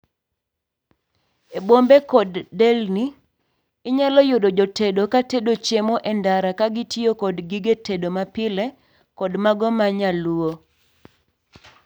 e bombe kod delni, inyalo yudo jotedo katedo chiemo e ndara ka gitiyo kod gige tedo mapile kod mago manyaluo